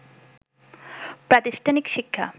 প্রাতিষ্ঠানিক শিক্ষা